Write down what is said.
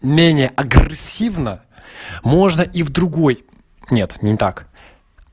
менее агрессивно можно и в другой нет не так